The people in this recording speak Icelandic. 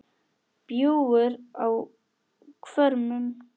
bjúgur á hvörmum